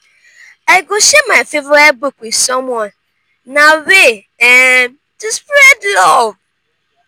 i go share my favorite book with someone; na way um to spread love.